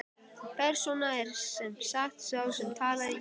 Persóna er sem sagt sá sem talar í gegnum grímu.